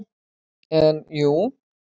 En jú.